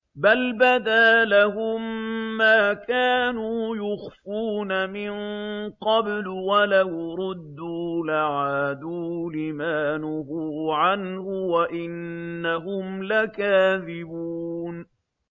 بَلْ بَدَا لَهُم مَّا كَانُوا يُخْفُونَ مِن قَبْلُ ۖ وَلَوْ رُدُّوا لَعَادُوا لِمَا نُهُوا عَنْهُ وَإِنَّهُمْ لَكَاذِبُونَ